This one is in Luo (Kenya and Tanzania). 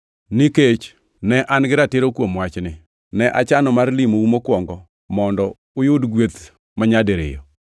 Nikech ne an-gi ratiro kuom wachni, ne achano mar limou mokwongo mondo ne uyud gweth manyadiriyo.